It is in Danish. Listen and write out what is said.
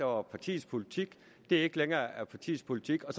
var partiets politik ikke længere er partiets politik og